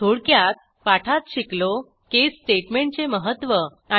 थोडक्यात पाठात शिकलो caseस्टेटमेंटचे महत्त्व